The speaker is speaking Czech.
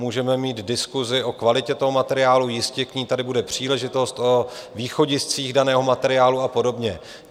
Můžeme mít diskusi o kvalitě toho materiálu - jistě k ní tady bude příležitost, o východiscích daného materiálu a podobně.